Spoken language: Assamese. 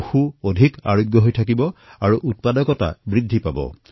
পশুআৰোগ্য উন্নত হব আৰু উৎপাদন বৃদ্ধি হব